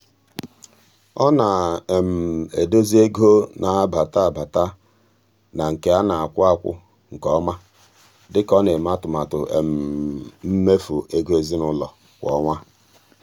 ọ na-edozi ego na-abata abata na nke a na-akwụ akwụ nke ọma dị ka ọ na-eme atụmatụ mmefu ego ezinụụlọ kwa ọnwa.